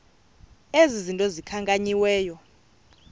ezi zinto zikhankanyiweyo